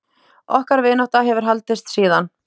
Okkar vinátta hefur haldist síðan.